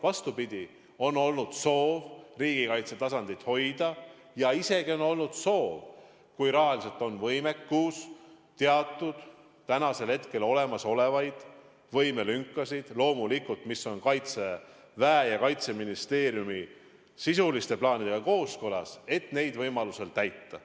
Vastupidi, on olnud soov riigikaitse taset hoida ja isegi soov, kui rahaliselt on võimalik, siis teatud olemasolevaid võimelünki – loomulikult kooskõlas Kaitseväe ja Kaitseministeeriumi sisuliste plaanidega – võimaluse korral täita.